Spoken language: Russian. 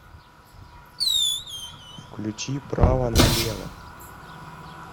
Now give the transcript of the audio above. включи право налево